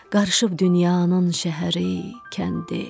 Qarışıb dünyanın şəhəri, kəndi.